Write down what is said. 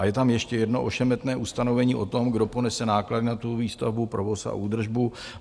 A je tam ještě jedno ošemetné ustanovení o tom, kdo ponese náklady na tu výstavbu, provoz a údržbu.